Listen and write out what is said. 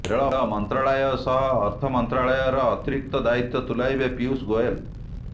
ରେଳ ମନ୍ତ୍ରଣାଳୟ ସହ ଅର୍ଥମନ୍ତ୍ରଣାଳୟର ଅତିରିକ୍ତ ଦାୟିତ୍ବ ତୁଲାଇବେ ପିୟୁଷ ଗୋଏଲ